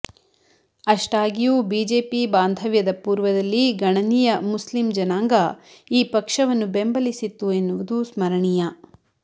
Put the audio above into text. ಅಷ್ಟಾಗಿಯೂ BJP ಭಾಂದವ್ಯದ ಪೂರ್ವದಲ್ಲಿ ಗಣನೀಯ ಮುಸ್ಲಿಂ ಜನಾಂಗ ಈ ಪಕ್ಷವನ್ನು ಬೆಂಬಲಿಸಿತ್ತು ಎನ್ನುವುದು ಸ್ಮರಣೀಯ